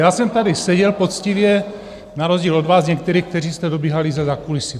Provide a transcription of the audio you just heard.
Já jsem tady seděl poctivě na rozdíl od vás některých, kteří jste dobíhali ze zákulisí.